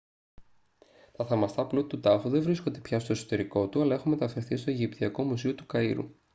τα θαυμαστά πλούτη του τάφου δεν βρίσκονται πια στο εσωτερικό του αλλά έχουν μεταφερθεί στο αιγυπτιακό μουσείο του καΐρου